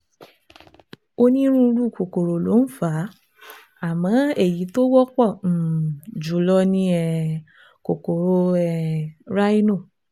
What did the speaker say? Onírúurú kòkòrò ló ń fà á, àmọ́ èyí tó wọ́pọ̀ um jùlọ ní um kòkòrò um rhino